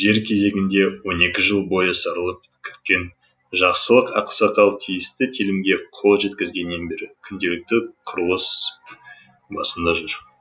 жер кезегінде он екі жыл бойы сарылып күткен жақсылық ақсақал тиісті телімге қол жеткізгеннен бері күнделікті құрылыс басында жүр